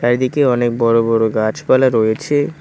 চারিদিকে অনেক বড় বড় গাছপালা রয়েছে।